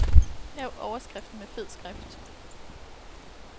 Lav overskriften med fed skrift.